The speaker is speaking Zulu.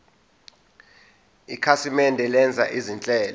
ikhasimende lenza izinhlelo